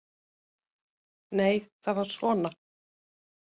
Nei, það var svona!